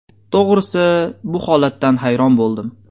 To‘g‘risi, bu holatdan hayron bo‘ldim.